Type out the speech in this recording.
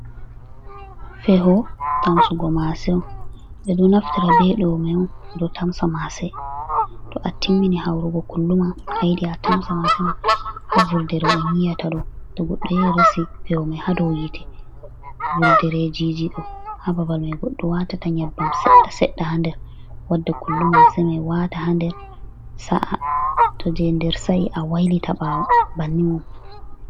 Feho tamsugo maase on. Ɓe ɗo naftira be mai on ɓe ɗo tamsa maase. To a timmini haurugo kullu ma, a yiɗi a tamsa maase ma. Ha vurdere on yi'ata ɗo, to goɗɗo resi feho man ha dou yiite, vurderejiji ɗo ha babal mai goɗɗo waatata nyebbam seɗɗa-seɗɗa ha nder, wadda kullu maase mai waata haa nder sa’a. To jei nder sa'i a wailita ɓaawo bannin on.